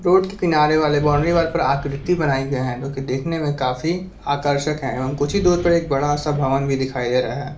Road के किनार वाले बॉउंड्री वॉल पर आकृती बनाई गये है जोकि देखने में काफी आकर्षक है कुछ ही दूर पर एक बड़ा सा भवन भी दिखाई दे रहा है।